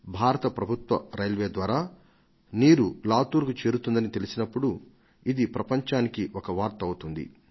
భారత ప్రభుత్వ రైల్వే ద్వారా నీరు లాతూర్కు చేరుతుందని తెలిసినప్పుడు ఇది ప్రపంచానికి ఒక వార్త అవుతుంది